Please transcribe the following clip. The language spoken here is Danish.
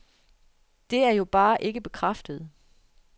Det er jo bare ikke bekræftet.